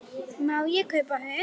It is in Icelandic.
Má ég kaupa hund?